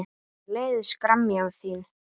Mér leiðist gremja þín.